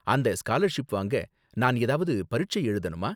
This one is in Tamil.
அந்த ஸ்காலர்ஷிப் வாங்க நான் ஏதாவது பரீட்சை எழுதனுமா?